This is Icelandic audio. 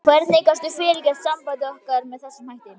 Hvernig gastu fyrirgert sambandi okkar með þessum hætti?